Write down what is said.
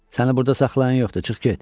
Səni burada saxlayan yoxdur, çıx get.